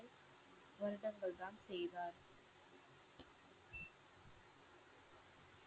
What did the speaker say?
வருடங்கள் தான் செய்தார்.